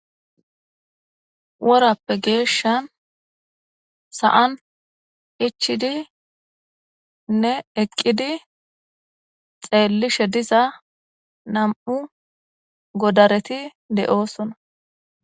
Worappe geeshshan sa7an ichidi nne eqqidi xeellishe diza nam7u godareti de7oosona.